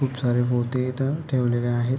खूप सारे पोते इथ ठेवलेले आहेत.